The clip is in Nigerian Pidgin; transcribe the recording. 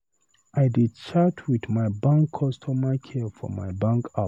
I dey chat wit my bank customer care for my bank app.